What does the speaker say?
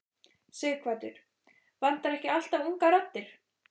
Sighvatur: Vantar ekki alltaf ungar raddir?